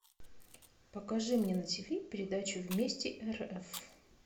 покажи мне на тв передачу вместе рф